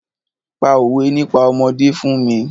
Pa òwé nípa ọmọdé fún mi!